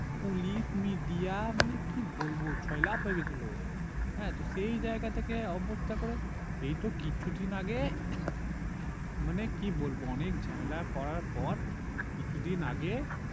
police media মানে কি বলবো ছয়লাপ হয়ে গেছিলো হ্যাঁ তো সেই জায়গা থেকে অবস্থা থেকে এইতো কিছু দিন আগে মানে কি বলবো অনেক ঝামেলা করার পর কিছু দিন আগে